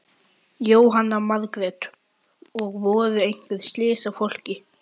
Jóhanna Margrét: Og voru einhver slys á fólki?